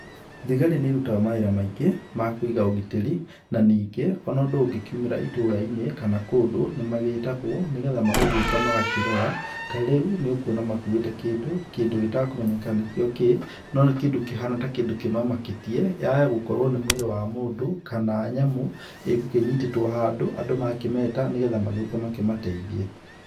Thigari nĩ ĩrutaga mawĩra maingĩ ma Kũiga ũgitĩri na ningĩ ona ũndũ ũngĩkiumĩra ituura-inĩ kana kũndũ nĩ magĩtagwo nĩgetha magagĩũka magakĩrora. Tarĩu nĩũkuona makuite kĩndũ, kĩndũ gĩtekũmenyeka nĩkio kĩĩ, no nĩ kĩndũ kĩhana ta kĩndũ kĩmamakĩtie ,yaya gũkorwo nĩ mwĩrĩ wa mũndũ kana nyamũ ĩgũkĩnyitĩtwo handũ andũ makĩmeta nĩgetha magĩũke makĩmateithie.